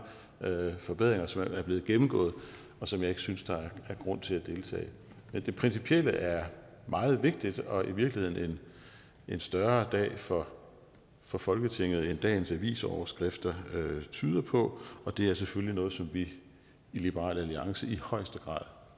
mange forbedringer som er blevet gennemgået og som jeg ikke synes der er grund til at gentage det principielle er meget vigtigt og i virkeligheden en større dag for for folketinget end dagens avisoverskrifter tyder på og det er selvfølgelig noget som vi i liberal alliance i højeste grad